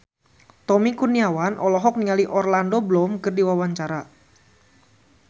Tommy Kurniawan olohok ningali Orlando Bloom keur diwawancara